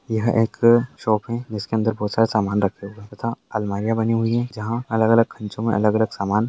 यह एक शॉप है जिसके अंदर बहुत सारे समान रखे हुए है तथा अलमारियाँ बनी हुई है जहां अलग-अलग खंचों मे अलग-अलग सामान --